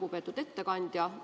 Lugupeetud ettekandja!